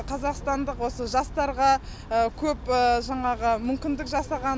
қазақстандық осы жастарға көп жаңағы мүмкіндік жасаған